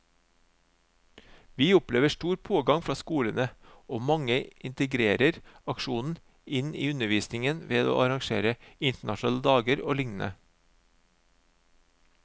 Vi opplever stor pågang fra skolene, og mange integrerer aksjonen inn i undervisningen ved å arrangere internasjonale dager og lignende.